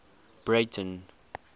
breyten